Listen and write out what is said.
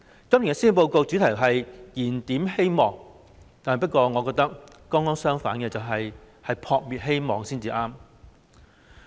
今年施政報告的主題是"燃點希望"，但我覺得情況剛剛相反，是"撲滅希望"才對。